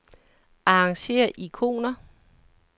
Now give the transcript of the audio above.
Arrangér ikoner.